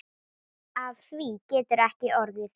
Af því getur ekki orðið.